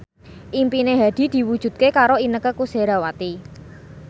impine Hadi diwujudke karo Inneke Koesherawati